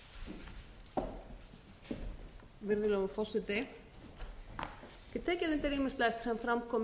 í